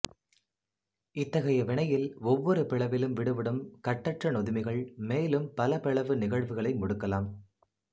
இத்தகைய வினையில் ஒவ்வொரு பிளவிலும் விடுபடும் கட்டற்ற நொதுமிகள் மேலும் பல பிளவு நிகழ்வுகளை முடுக்கலாம்